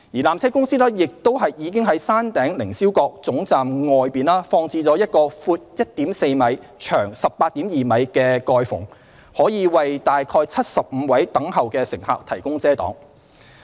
纜車公司亦已在山頂凌霄閣總站外放置了一個闊 1.4 米、長 18.2 米的蓋篷，可為約75位等候的乘客提供遮擋。